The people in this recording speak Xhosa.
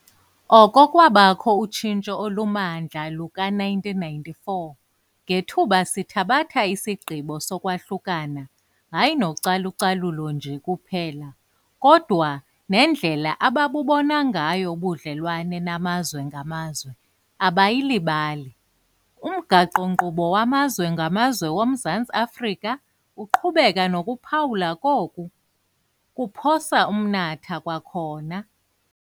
Oko kwabakho utshintso olumandla luka-1994 ngethuba sithabatha isigqibo sokwahlukana hayi nocalu-calulo nje kuphela, kodwa nendlela ababubona ngayo ubudlelwane namazwe ngamazwe abayili balo, umgaqo-nkqubo wamazwe ngamazwe woMzantsi Afrika uqhubeka nokuphawulwa koku "kuphosa umnatha kwakhona".